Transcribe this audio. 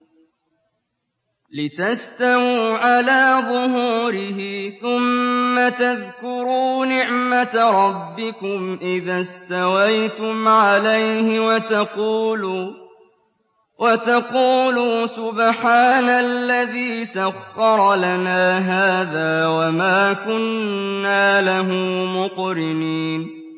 لِتَسْتَوُوا عَلَىٰ ظُهُورِهِ ثُمَّ تَذْكُرُوا نِعْمَةَ رَبِّكُمْ إِذَا اسْتَوَيْتُمْ عَلَيْهِ وَتَقُولُوا سُبْحَانَ الَّذِي سَخَّرَ لَنَا هَٰذَا وَمَا كُنَّا لَهُ مُقْرِنِينَ